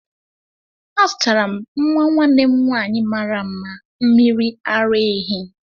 Azụtara m nwa nwanne m nwanyị mara mma mmiri ara ehi.